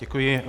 Děkuji.